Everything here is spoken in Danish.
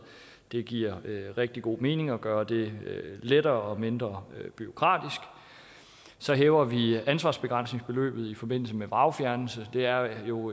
det giver rigtig god mening at gøre det lettere og mindre bureaukratisk så hæver vi ansvarsbegrænsningsbeløbet i forbindelse med vragfjernelse det er jo